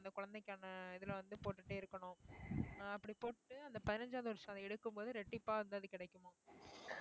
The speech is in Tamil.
அந்த குழந்தைக்கான இதுல வந்து போட்டுட்டே இருக்கணும் அஹ் அப்படி போட்டு அந்த பதினஞ்சாவது வருஷம் அதை எடுக்கும்போது ரெட்டிப்பாக இந்த இது கிடைக்குமாம்